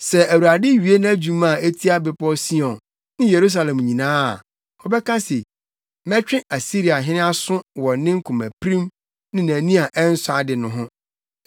Sɛ Awurade wie nʼadwuma a etia Bepɔw Sion ne Yerusalem nyinaa a, ɔbɛka se, “Mɛtwe Asiriahene aso wɔ ne komapirim ne nʼani a ɛnsɔ ade no ho.